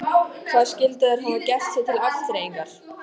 Hvað skyldu þær hafa gert sér til afþreyingar?